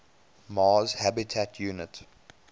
mars habitat unit